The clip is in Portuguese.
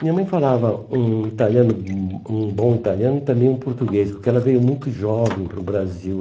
Minha mãe falava um italiano um um bom italiano e também um português, porque ela veio muito jovem para o Brasil.